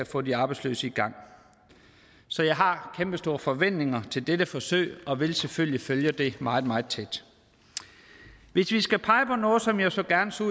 få de arbejdsløse i gang så jeg har kæmpestore forventninger til dette forsøg og vil selvfølgelig følge det meget meget tæt hvis vi skal pege på noget som jeg så gerne så